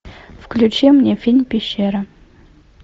включи мне фильм пещера